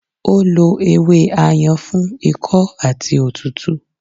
Ó lo ewé Ayan fún ikọ́ àti òtútù